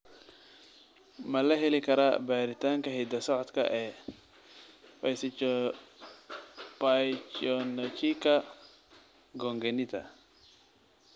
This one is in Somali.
Ma la heli karaa baaritaanka hidda-socodka ee pachyonychia congenita?